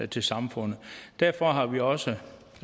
til samfundet derfor har vi også